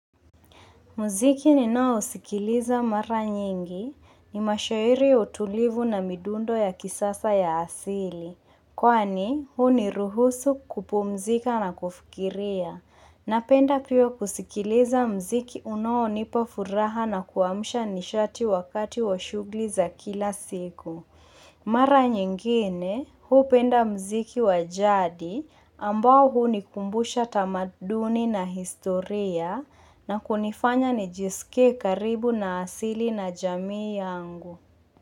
Mziki ninao sikiliza mara nyingi ni mashairi utulivu na midundo ya kisasa ya asili. Kwani huniruhusu kupumzika na kufikiria. Napenda pia kusikiliza mziki unaonipa furaha na kuamsha nishati wakati wa shughuli za kila siku. Mara nyingine, huu penda mziki wa jadi ambao hunikumbusha tamaduni na historia na kunifanya nijisike karibu na asili na jamii yangu.